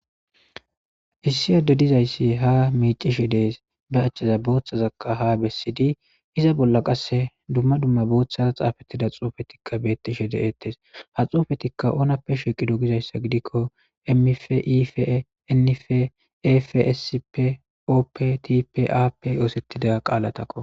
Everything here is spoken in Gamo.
issi adde dizayssi ha miicishe dees ba achaza booththazaka ha bessidi iza bolla qasse dumma dumma booththaza xaafettida xoofetikka beettishe de7ettes ha xoofetikka oonappe shiqido gizayssa gidikko emmif ie nnife efssp optipaap yoosettida qaalatakko